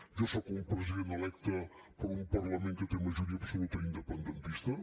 jo sóc un president electe per un parlament que té majoria absoluta independentista